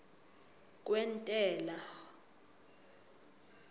kwentela